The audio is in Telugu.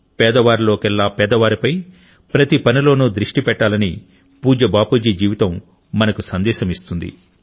పేదవారిలోకెల్లా పేదవారిపై ప్రతిపనిలోనూ దృష్టి పెట్టాలని పూజ్య బాపుజీ జీవితం మనకు సందేశం ఇస్తుంది